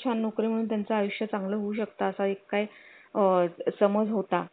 छान नोकरी म्हणून त्यांचे आयुष्य चांगलं होऊ शकतं असा एक काही आह अ समज होता